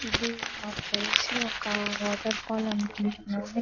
ఇది నాకు తెలిసి ఒక వాటర్ ఫాల్ అనుకుంటున్నాను.